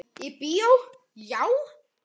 Í bíó, já?